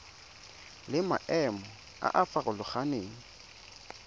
le maemo a a farologaneng